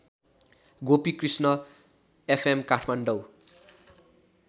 Gopikrishna FM Kathmandu